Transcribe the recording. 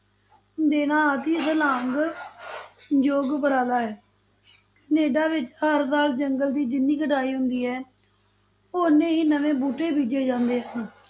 ਦੇਣਾ ਆਦਿ ਸਲਾਘਾ ਯੋਗ ਉਪਰਾਲਾ ਹੈ, ਕਨੇਡਾ ਵਿੱਚ ਹਰ ਸਾਲ ਜੰਗਲ ਦੀ ਜਿੰਨੀ ਕਟਾਈ ਹੁੰਦੀ ਹੈ, ਉਹ ਓਨੇ ਹੀ ਨਵੇਂ ਬੂਟੇ ਬੀਜੇ ਜਾਂਦੇ ਹਨ,